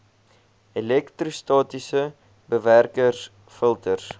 elektrostatiese bewerkers filters